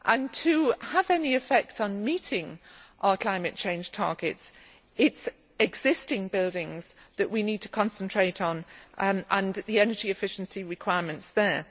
To have any effect on meeting our climate change targets, it is existing buildings that we need to concentrate on and the energy efficiency requirements there.